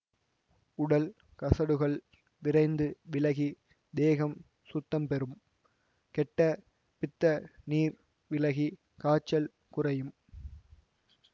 உடல் கசடுகள் விரைந்து விலகி தேகம் சுத்தம் பெறும் கெட்ட பித்த நீர் விலகி காய்ச்சல் குறையும்